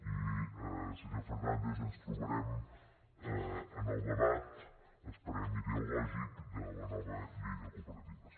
i senyor fernàndez ens trobarem en el debat esperem ideològic de la nova llei de cooperatives